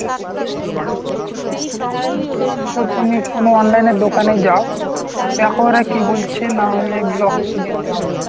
শুধু তুমি কোনো online এর দোকান এ যাও, দেখো ওরা কী বলছে, নাহলে block এ যেতে হবে।